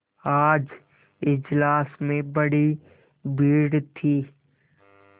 आज इजलास में बड़ी भीड़ थी